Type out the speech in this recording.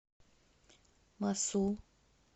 мосул